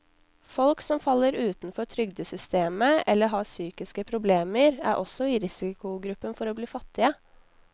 Folk som faller utenfor trygdesystemet eller har psykiske problemer, er også i risikogruppen for å bli fattige.